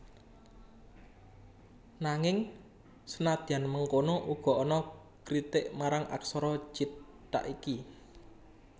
Nanging senadyan mengkono uga ana kritik marang aksara cithak iki